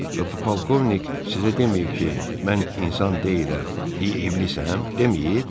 Bə bu polkovnik sizə deməyib ki, mən insan deyiləm, iblisəm, deməyib?